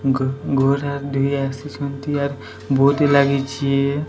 ଗୋ ଗୋରା ଦେଇ ଆସିଛନ୍ତି ଆର ବୋଦି ଲାଗିଚି।